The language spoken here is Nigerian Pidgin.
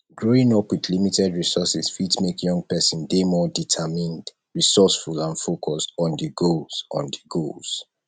growing up with limited resources fi make young pesin dey more determined resoureful and focused on di goals on di goals